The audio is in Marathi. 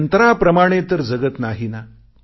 यंत्राप्रमाणे तर जगत नाही ना